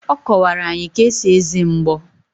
Ọ kọwara anyị ka esi eze mgbo.